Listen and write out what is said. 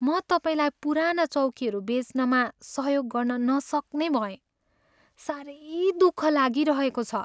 म तपाईँलाई पुराना चौकीहरू बेच्नमा सहयोग गर्न नसक्ने भएँ। साह्रै दुःख लागिरहेको छ।